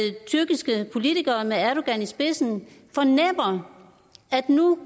tyrkiske politikere med erdogan i spidsen fornemmer at nu